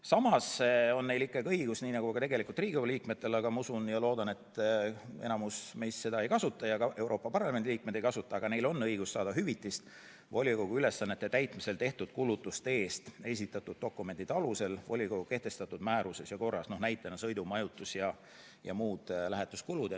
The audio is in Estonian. Samas on neil nagu ka Riigikogu liikmetel ikkagi õigus – ma usun ja loodan, et enamus meist seda ei kasuta ja ka Euroopa Parlamendi liikmed seda ei kasuta, aga neil on see õigus – saada esitatud dokumentide alusel hüvitist volikogu ülesannete täitmisel tehtud kulutuste eest, näiteks sõidu-, majutus- ja muud lähetuskulud.